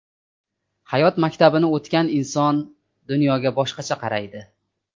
Hayot maktabini o‘tagan inson dunyoga boshqacha qaraydi.